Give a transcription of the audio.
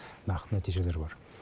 нақты нәтижелер бар